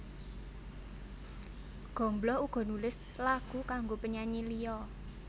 Gombloh uga nulis lagu kanggo penyanyi liya